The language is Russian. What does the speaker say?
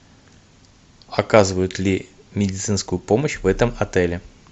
оказывают ли медицинскую помощь в этом отеле